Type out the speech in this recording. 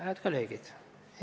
Hääd kolleegid!